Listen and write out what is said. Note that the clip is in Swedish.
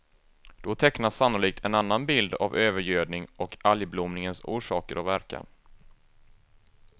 Då tecknas sannolikt en annan bild av övergödning och algblomningens orsaker och verkan.